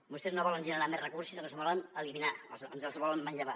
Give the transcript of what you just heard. vostès no volen generar més recursos sinó que els volen eliminar ens els volen manllevar